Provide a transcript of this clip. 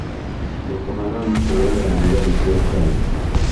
Boko Haram kũũraga thigari cia Chad